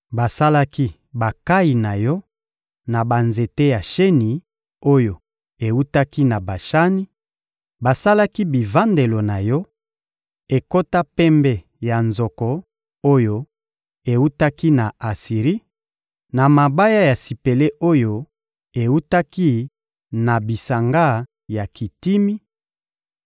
basalaki bankayi na yo na banzete ya sheni oyo ewutaki na Bashani; basalaki bivandelo na yo, ekota pembe ya nzoko oyo ewutaki na Asiri, na mabaya ya sipele oyo ewutaki na bisanga ya Kitimi;